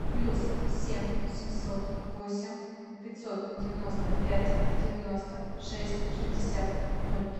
плюс семь семьсот восемь пятьсот девяносто пять девяносто шесть шестьдесят ноль